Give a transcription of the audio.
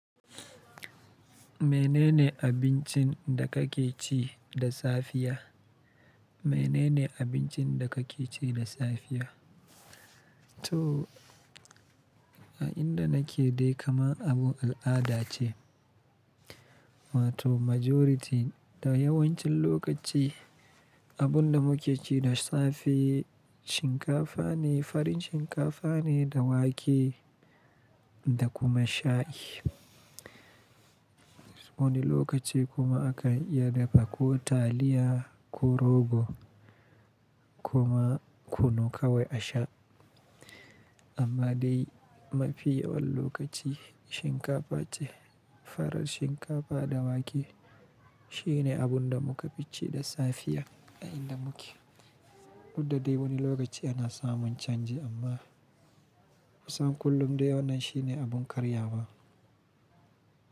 Menene abincin da kake ci da safiya? Menene abincin da kake ci da safiya? To, a inda nake dai kamar abun al'ada ce. Wato majority da yawancin lokaci abun da muke ci da safe shinkafa ne, farin shinkafa ne da wake da kuma shayi. Wani lokaci kuma aka iya dafa ko taliya ko rogo kuma kunu kawo a sha. Amma dai mafi yawan lokaci, shinkafa ce, farar shinkafa da wake. Shine abun da muka fi ci da safiya a inda muke. Duk da dai wani lokaci ana samun canji, amma kusan kullum dai wannan shine abun karya ba.